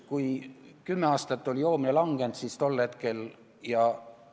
Kui kümme aastat oli joomine vähenenud, siis alates tollest hetkest asi muutus.